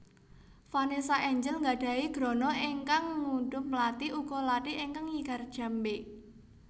Vanessa Angel nggadhahi grana ingkang ngudhup mlati uga lathi ingkang nyigar jambe